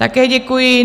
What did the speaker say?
Také děkuji.